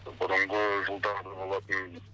бұрынғы жылдары болатын